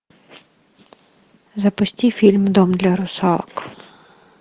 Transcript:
запусти фильм дом для русалок